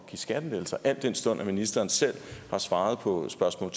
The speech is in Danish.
skattelettelser al den stund at ministeren selv har svaret på spørgsmål